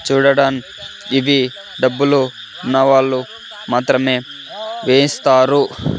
చూడడం ఇది డబ్బులు ఉన్నవాళ్ళు మాత్రమే వేస్తారు.